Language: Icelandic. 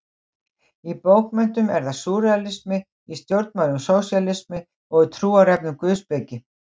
Í bókmenntum er það súrrealismi, í stjórnmálum sósíalismi, í trúarefnum guðspeki.